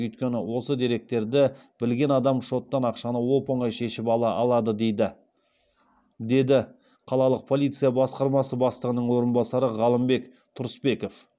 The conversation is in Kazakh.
өйткені осы деректерді білген адам шоттан ақшаны оп оңай шешіп ала алады дейді деді қалалық полиция басқармасы бастығының орынбасары ғалымбек тұрысбеков